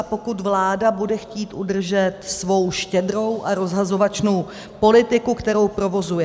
A pokud vláda bude chtít udržet svou štědrou a rozhazovačnou politiku, kterou provozuje...